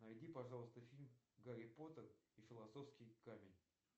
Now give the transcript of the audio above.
найди пожалуйста фильм гарри поттер и философский камень